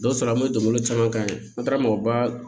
Dɔw sɔrɔ an bɛ donbolo caman kɛ an taara mɔgɔba